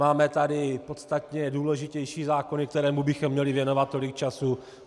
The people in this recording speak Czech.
Máme tady podstatně důležitější zákony, kterým bychom měli věnovat tolik času.